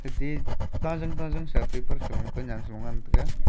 ate tajang tajang sa paper sa lon kunen sa lon ngan tega.